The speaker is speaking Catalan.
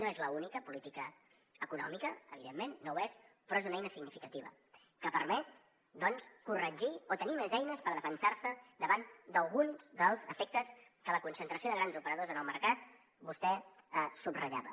no és l’única política econòmica evidentment no ho és però és una eina significativa que permet doncs corregir o tenir més eines per defensar se davant d’alguns dels efectes que la concentració de grans operadors en el mercat vostè subratllava